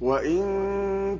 وَإِن